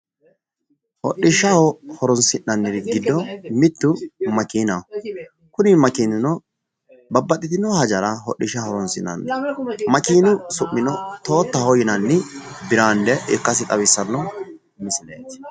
Hodhishshaho horonsi'nanniri giddo mittu makeenaho. kuni makeenino babbaxxitino hajara hodhishshaho horonsi'nanni makeenu su'mino toottaho yinanni biraande ikkasi xawissanno misileeti.